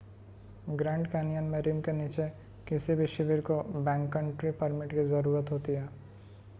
grand Canyon में rim ​​के नीचे किसी भी शिविर को बैककंट्री परमिट की ज़रूरत होती है